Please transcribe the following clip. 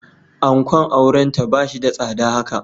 Ankon aurenta ba shi da tsada haka.